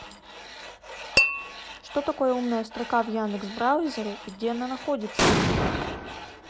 что такое умная строка в яндекс браузере и где она находится